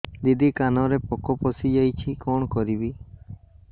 ଦିଦି କାନରେ ପୋକ ପଶିଯାଇଛି କଣ କରିଵି